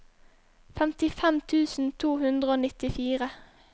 femtifem tusen to hundre og nittifire